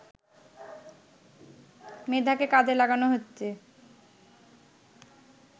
মেধাকে কাজে লাগানো হচ্ছে